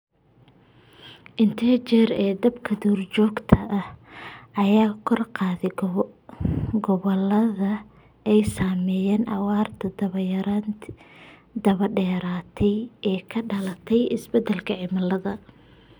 Inta jeer ee dabka duurjoogta ah ayaa kordhay gobollada ay saameeyeen abaarta daba dheeraatay ee ka dhalatay isbedelka cimilada.